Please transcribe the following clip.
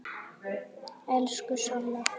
Elsku Solla.